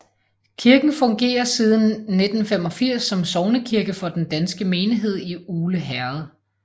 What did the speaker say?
Kirken fungerer siden 1985 som sognekirke for den danske menighed i Ugle Herred